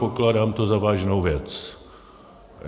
Pokládám to za vážnou věc.